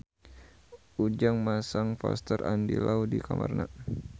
Ujang masang poster Andy Lau di kamarna